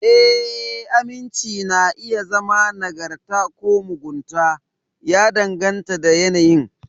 Ee, aminci na iya zama nagarta ko mugunta, ya danganta da yanayin.